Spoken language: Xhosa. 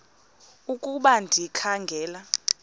ukuba ndikha ngela